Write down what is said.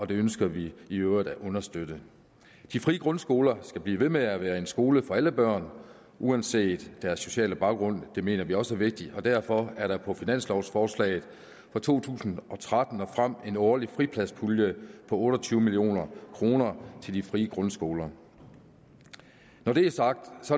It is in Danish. det ønsker vi i øvrigt at understøtte de frie grundskoler skal blive ved med at være skoler for alle børn uanset deres sociale baggrund det mener vi også er vigtigt og derfor er der på finanslovforslaget for to tusind og tretten og frem en årlig fripladspulje på otte og tyve million kroner til de frie grundskoler når det er sagt